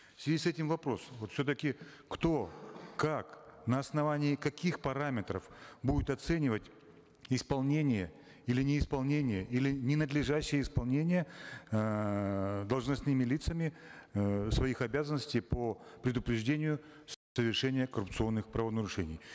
в связи с этим вопрос вот все таки кто как на основании каких параметров будет оценивать исполнение или неисполнение или ненадлежащее исполнение эээ должностными лицами эээ своих обязанностей по предупреждению коррупционных правонарушений